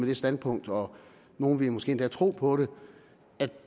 det standpunkt og nogle ville måske endda tro på det at